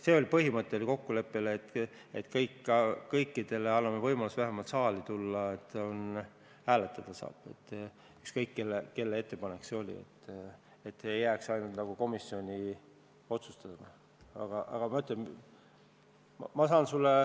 Meil oli põhimõtteline kokkulepe, et anname kõikidele muudatusettepanekutele võimaluse vähemalt saali jõuda ja neid hääletada – ükskõik, kelle ettepanek see oli –, nii et see ei jääks ainult komisjoni otsustada.